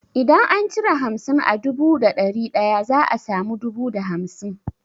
Idan an cire hamsin a dubu da dari daya za a samu dubu da hamsin.